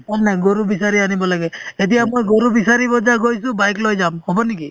গৰু বিচাৰি আনিব লাগে এতিয়া মই গৰু বিচাৰিব গৈছো bike লৈ যাম হব নেকি